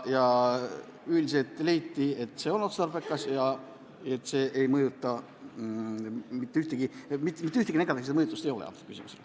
Üldiselt leiti, et see on otstarbekas ja mitte mingit negatiivset mõju sellel ei ole.